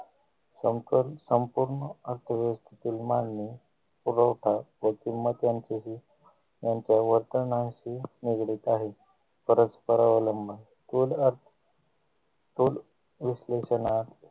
संकल्प संपूर्ण असे ही मांडणी पुरवठा व किंमत यांचेही यांच्या वर्तनाशी निगडित आहे परस्परावलंब स्थूल अर्थ स्थूल विश्लेषण अर्थ